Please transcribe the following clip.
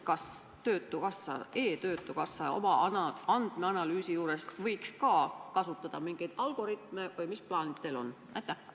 Kas e-töötukassa oma andmeanalüüsi juures võiks ka kasutada mingeid algoritme või mis plaanid teil on?